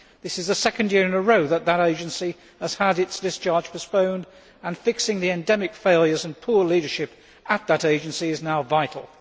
This is the second year in a row that that agency has had its discharge postponed, and fixing the endemic failures and poor leadership at that agency is now vital.